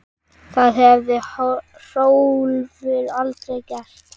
Það hefði Hrólfur aldrei gert.